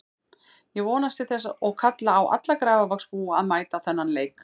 Ég vonast til þess og kalla á alla Grafarvogsbúa að mæta á þennan leik.